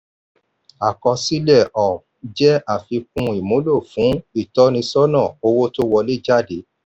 àkọsílẹ̀ um jẹ́ àfikún ìmúlò fún ìtọ́nisọ́nà owó tó wọlé/jáde.